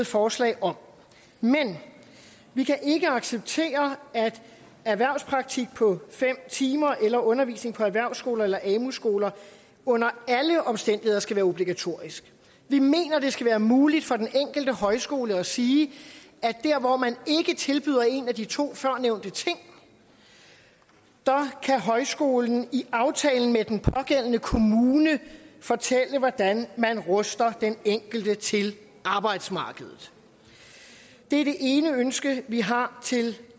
forslag om men vi kan ikke acceptere at erhvervspraktik på fem timer eller undervisning på erhvervsskoler eller amu skoler under alle omstændigheder skal være obligatorisk vi mener det skal være muligt for den enkelte højskole at sige at der hvor man ikke tilbyder en af de to førnævnte ting kan højskolen i aftalen med den pågældende kommune fortælle hvordan man ruster den enkelte til arbejdsmarkedet det er det ene ønske vi har til